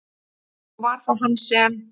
Og var það hann sem?